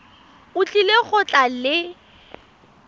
o tlile go tla le